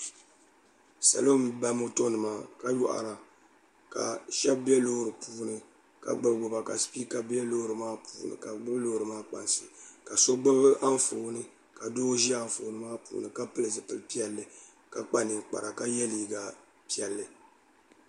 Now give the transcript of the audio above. salo n ba moto nima ka yoɣara ka shab bɛ loori nim puuni ka gbubi gbuba ka sipiika bɛ loori maa puuni ka bi bɛ loori maa kpansi ka so gbubi Anfooni ka doo ʒi Anfooni maa puuni ka pili zipili piɛlli ka kpa ninkpara ka yɛ liiga piɛlli